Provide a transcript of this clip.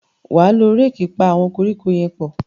wá ló Réèkì pá àwọn koríko yén pọ